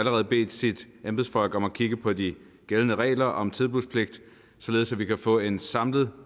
allerede bedt sine embedsfolk om at kigge på de gældende regler om tilbudspligt således at vi kan få en samlet